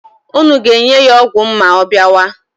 Unu ga-enye ya ọgwụ m ma ọ bịawa?